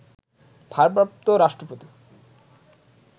ভারপ্রাপ্ত রাষ্ট্রপতি